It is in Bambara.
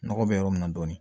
Nɔgɔ bɛ yɔrɔ min na dɔɔnin